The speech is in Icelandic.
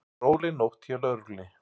Róleg nótt hjá lögreglunni